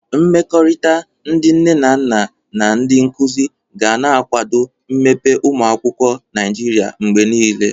Mmekọrịta ndị nne na nna na ndị nkuzi ga na-akwado mmepe ụmụ akwụkwọ Naịjiria mgbe niile.